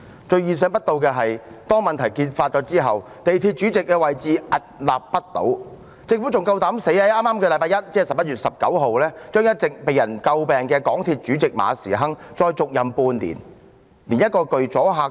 最意想不到的是，當問題揭發後，港鐵公司主席仍然屹立不倒，政府還膽敢在剛過去的星期一，讓一直被人詬病的港鐵公司主席馬時亨再續任半年。